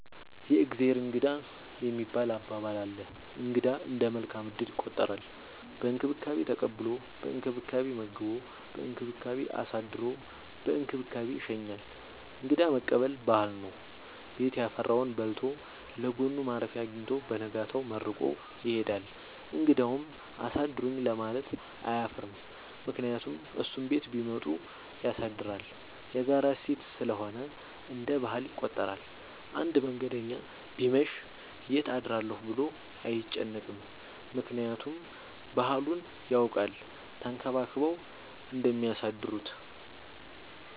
የእግዜር እንግዳ የሚባል አባባል አለ። እንግዳ እንደ መልካም እድል ይቆጠራል። በእንክብካቤ ተቀብሎ በእንክብካቤ መግቦ በእንክብካቤ አሳድሮ በእንክብካቤ ይሸኛል። እንግዳ መቀበል ባህል ነው። ቤት ያፈራውን በልቶ ለጎኑ ማረፊያ አጊኝቶ በነጋታው መርቆ ይሄዳል። እንግዳውም አሳድሩኝ ለማለት አያፍርም ምክንያቱም እሱም ቤት ቢመጡ ያሳድራል። የጋራ እሴት ስለሆነ እንደ ባህል ይቆጠራል። አንድ መንገደኛ ቢመሽ ይት አድራለሁ ብሎ አይጨነቅም። ምክንያቱም ባህሉን ያውቃል ተንከባክበው እንደሚያሳድሩት።